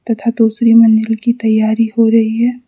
तथा दूसरे मंजिल की तैयारी हो रही हैं।